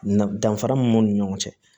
Na danfara min b'u ni ɲɔgɔn cɛ